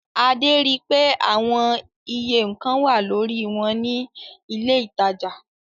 Adé ri pé àwon iye nǹkan wà lórí wọn ní ilé-ìtajà.